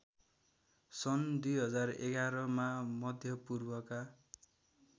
सन् २०११मा मध्यपूर्वका